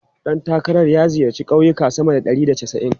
Ɗan takarar ya ziyarci kauyuka sama da ɗari da casa'in.